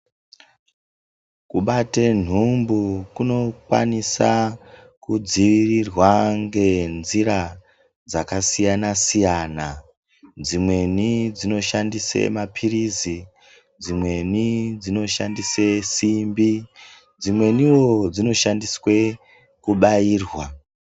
Kubate nhumbu kunokwanisa kudziirirwa ngenzira dzakasiyana siyana dzimweni dzinoshandise mapirizi dzimweni dzinoshandise simbi dzimwenio dzinoshandiswe kubairwa.